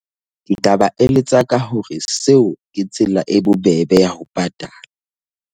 Ke tlaba eletsa ka hore seo ke tsela e bobebe ya ho patala.